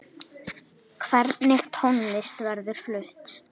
Hvernig tónlist verður flutt?